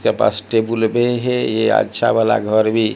के पास टेबुल भे है ये अच्छा वाला घर भी--